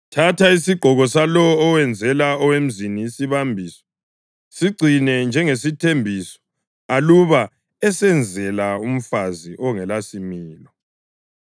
Thatha isigqoko salowo owenzela owemzini isibambiso; sigcine njengesithembiso aluba esenzela umfazi ongelasimilo.